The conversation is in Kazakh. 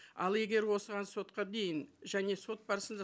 ал егер осыған сотқа дейін және сот барысында